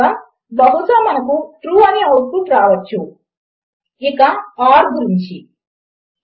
కానీ ఇప్పటికే నా ఇతర ట్యుటోరియల్ లను అనుసరిస్తూ మీకు వేరియబుల్ లతో తగినంత పరిచయము ఉంది అని నేను గట్టిగా నమ్ముతున్నాను